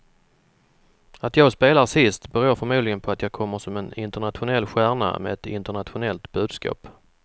Att jag spelar sist beror förmodligen på att jag kommer som en internationell stjärna med ett internationellt budskap.